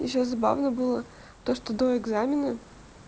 ещё забавно было то что до экзамена